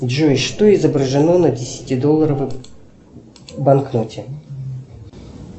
джой что изображено на десятидолларовой банкноте